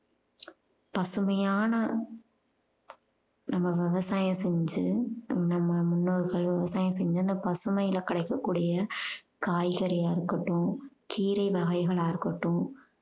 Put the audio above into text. பசுமையான நம்ம விவசாயம் செஞ்சு நம்ம முன்னோர்கள் விவசாயம் செஞ்சு அந்த பசுமைல கிடைக்கக்கூடிய காய்கறியா இருக்கட்டும் கீரை வகைகளா இருக்கட்டும்